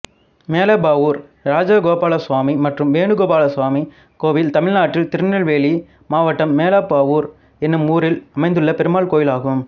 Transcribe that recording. மேலப்பாவூர் இராஜகோபாலசுவாமி மற்றும் வேணுகோபாலசுவாமி கோயில் தமிழ்நாட்டில் திருநெல்வேலி மாவட்டம் மேலப்பாவூர் என்னும் ஊரில் அமைந்துள்ள பெருமாள் கோயிலாகும்